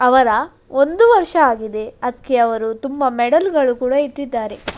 ಅವರ ಒಂದು ವರ್ಷ ಆಗಿದೆ ಅದ್ಕೆ ಅವರು ತುಂಬಾ ಮೆಡೆಲ್ ಗಳು ಇಟ್ಟಿದ್ದಾರೆ.